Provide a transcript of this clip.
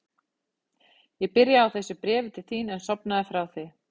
Ég byrjaði á þessu bréfi til þín en sofnaði frá því.